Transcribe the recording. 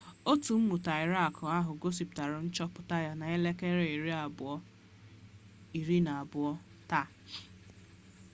otu mmụta irak ahụ gosipụtara nchọpụta ya na 12.00 gmt taa